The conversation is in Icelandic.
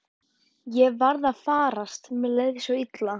Ég var að farast, mér leið svo illa.